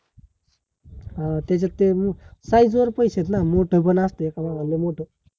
अं त्याच्यात ते size वर पैशे आहेत ना मोठ पण असतं का बाबा? लै मोठ